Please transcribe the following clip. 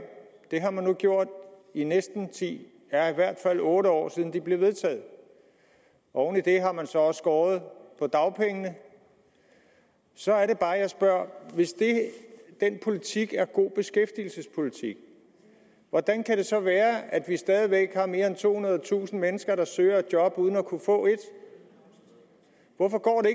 det har man nu gjort i næsten ti år det er i hvert fald otte år siden de blev vedtaget oven i det har man så også skåret på dagpengene så er det bare jeg spørger hvis den politik er god beskæftigelsespolitik hvordan kan det så være at vi stadig væk har mere end tohundredetusind mennesker der søger job uden at kunne få et hvorfor går det